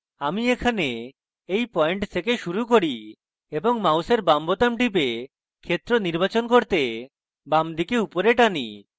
আমি এখানে এই পয়েন্ট থেক শুরু করি এবং মাউসের বাম বোতাম টিপে ক্ষেত্র নির্বাচন করতে বাম দিকে উপরে টানি